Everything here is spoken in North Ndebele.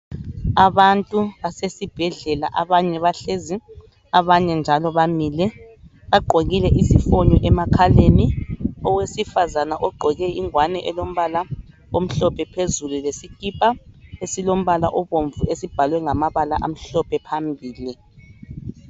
Abantu basesibhedlela abanye bahlezi abanye njalo bamile. Bagqokile izifonyo emakhaleni. Owesifazana ogqoke ingwane elombala omhlophe phezulu lesikipa esilombala obomvu esibhalwe ngamabala amhlophe phambili.